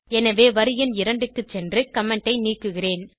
எனவே வரி எண் 2 க்கு சென்று கமெண்ட் ஐ நீக்குகிறேன்